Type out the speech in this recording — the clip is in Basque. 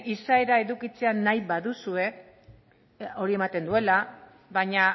izaera edukitzea nahi baduzue hori ematen duela baina